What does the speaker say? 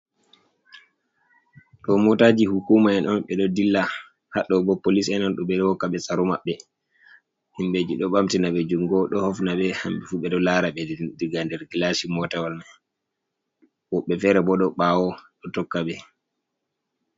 Ɗo motaji hukuma'en on bé do dilla, hadɗo ɓo polis en on du hokka ɓe tsarô maɓɓe himbé ji do bamtina be jungo do hofna bé hambe fu bé ɗo lara be diga nder gilasi motawol. Woɓbe fere ɓo do bawo do tokka bé.